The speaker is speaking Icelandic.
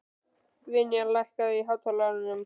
Vinjar, lækkaðu í hátalaranum.